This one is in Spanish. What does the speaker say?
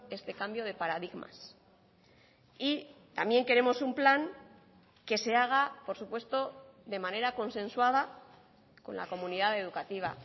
este cambio de paradigmas y también queremos un plan que se haga por supuesto de manera consensuada con la comunidad educativa